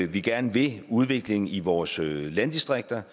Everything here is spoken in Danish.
vi gerne vil udviklingen i vores landdistrikter